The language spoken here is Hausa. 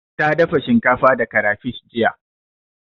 Ta dafa shinkafa da karafish jiya.